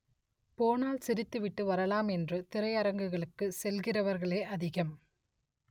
போனால் சி‌ரித்துவிட்டு வரலாம் என்று திரையரங்குக்கு செல்கிறவர்களே அதிகம்